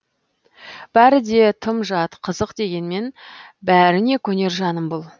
бәрі де тым жат қызық дегенмен бәріне көнер жаным бұл